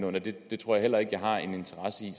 og det det tror jeg heller ikke jeg har en interesse i